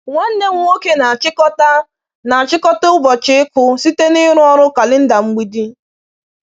Nwanne m nwoke na-achịkọta na-achịkọta ụbọchị ịkụ site n’ịrụ ọrụ kalenda mgbidi.”